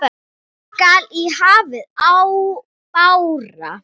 skall í hafi bára.